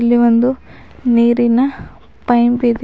ಇಲ್ಲಿ ಒಂದು ನೀರಿನ ಪೈಂಪ್ ಇದೆ.